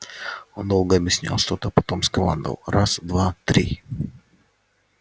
он долго объяснял что-то потом скомандовал раз два три